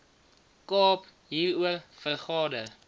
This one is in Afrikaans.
kaap hieroor vergader